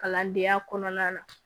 Kalandenya kɔnɔna na